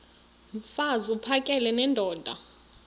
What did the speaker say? mfaz uphakele nendoda